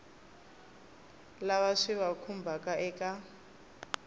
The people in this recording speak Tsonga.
lava swi va khumbhaka eka